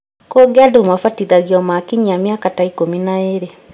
Kũngĩ andũ mabatithagio makinyia mĩaka ta ikũmi na ĩĩrĩ